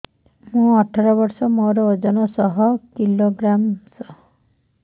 ମୁଁ ଅଠର ବର୍ଷ ମୋର ଓଜନ ଶହ କିଲୋଗ୍ରାମସ